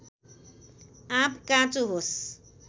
आँप काँचो होस्